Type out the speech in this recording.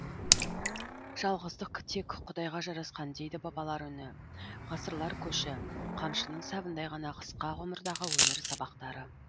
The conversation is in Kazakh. жалғыздық тек құдайға жарасқан дейді бабалар үні ғасырлар көші қамшының сабындай ғана қысқа ғұмырдағы өмір сабақтары